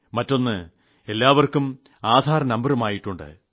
മറ്റൊന്ന് എല്ലാവർക്കും ആധാർ നമ്പറുമായിട്ടുണ്ട്